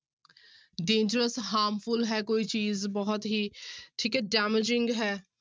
Dangerous, harmful ਹੈ ਕੋਈ ਚੀਜ਼ ਬਹੁਤ ਹੀ ਠੀਕ ਹੈ damaging ਹੈ।